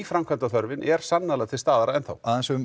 nýframkvæmdaþörfin er ennþá til staðar aðeins um